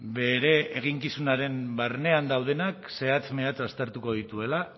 bere eginkizunaren barnean daudenak zehatz mehatz aztertuko dituela